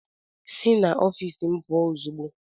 Si n'ofiisi m pụọ ozugbo!